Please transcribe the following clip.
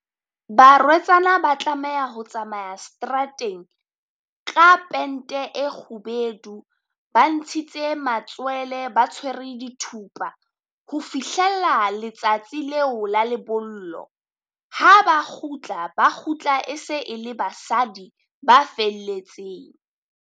Barwetsana ba tlameha ho tsamaya seterateng ka pente e kgubedu, Ba ntshitse matswele ba tshwere dithupa ho fihlella letsatsi leo la lebollo. Ha ba kgutla, ba kgutla e se e le basadi ba felletseng.